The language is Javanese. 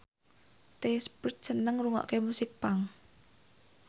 The Script seneng ngrungokne musik punk